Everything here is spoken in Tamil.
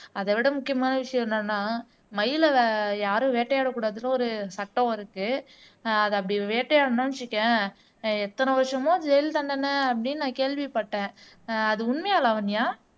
அதைவிட முக்கியமான விஷயம் என்னன்னா மயிலை யாரும் வேட்டையாடக்கூடாதுன்னு ஒரு சட்டம் இருக்கு அது அப்படி வேட்டையாடுனா வச்சுக்கயேன் எத்தன வருஷமா ஜெயில் தண்டனை அப்படீன்னு நான் கேள்விப்பட்டேன் அஹ் அது உண்மையா லாவண்யா